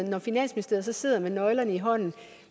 når finansministeriet sidder med nøglerne i hånden